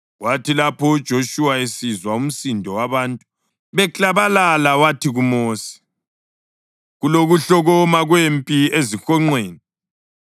Kwathi lapho uJoshuwa esizwa umsindo wabantu beklabalala, wathi kuMosi, “Kulokuhlokoma kwempi ezihonqweni.”